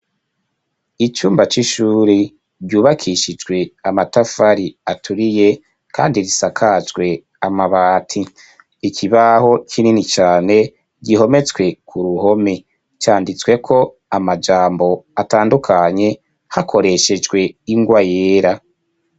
Icumba c'ishuri ryubakishijwe amatafari aturiye kandi risakajwe amabati, ikibaho kinini cane gihometswe ku ruhome canditsweko amajambo atandukanye hakoreshejwe ingwa yera.